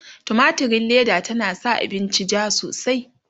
tumatirin Leda tana sa abinci jaa sosai